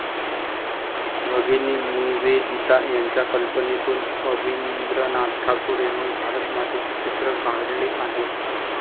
भगिनी निवेदिता यांच्या कल्पनेतून अवनींद्रनाथ ठाकूर यांनी भारतमातेचे चित्र काढले आहे.